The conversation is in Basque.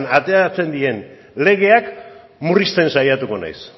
ateratzen diren legeak murrizten saiatuko naiz